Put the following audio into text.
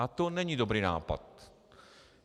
A to není dobrý nápad.